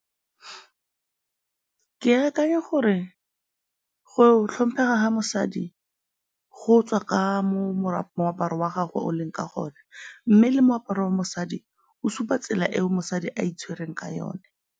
Ke akanya gore go tlhomphega ga mosadi go tswa ka moaparo wa gagwe o leng ka gone mme le moaparo wa mosadi o supa tsela eo mosadi a itshwereng ka yone.